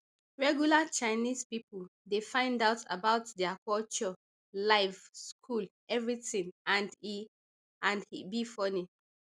regular chinese pipo dey find out about dia culture life school everytin and e and e be fun